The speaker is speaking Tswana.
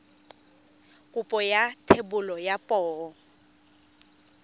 kopo ya thebolo ya poo